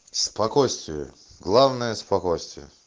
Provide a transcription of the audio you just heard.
спокойствие главное спокойствие